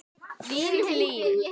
Þín, Hlín.